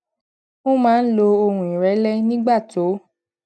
ó maa n lo ohun irele nígbà tó